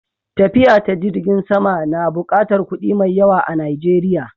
Tafiya ta jirgin sama na buƙatar kuɗi mai yawa a Najeriya.